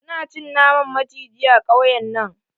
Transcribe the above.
Su na cin naman maciji a kauyen nan.